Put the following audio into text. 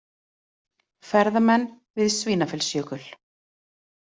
Ferðamenn við Svínafellsjökul.